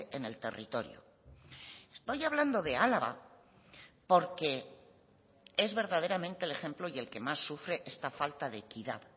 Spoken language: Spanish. en el territorio estoy hablando de álava porque es verdaderamente el ejemplo y el que más sufre esta falta de equidad